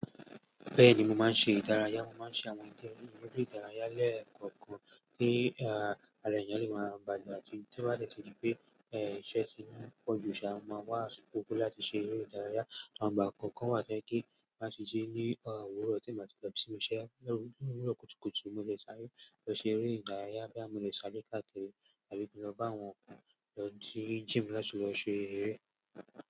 Bẹ́ẹ̀ni, mo máa ń ṣe ìdárayá, mo máa ń ṣe àwọn ìdíje eré ìdárayá lẹ́ẹ̀kọ̀ọ̀kan tí alẹ̀yànlé máa gba jù, tí ó bá dẹ́kun pé iṣẹ́ ti mú pọ̀jù, ṣà máa wá asíko láti ṣe eré ìdárayá. Awon ìgbà kọ̀ọ̀kan wà tó jẹ pe tó máa ṣíṣe ní òwúrọ̀ ọtí màjẹ́ẹ̀dọ̀ bí i ṣímu iṣẹ́. Ní òwúrọ̀ kùtùkùtù, mo lè ṣáré lọ ṣe eré ìdárayá boya mo lè ṣáré káàkiri àbí lọ bá àwọn ọkùnrin lọ dé gym láti lọ ṣe eré.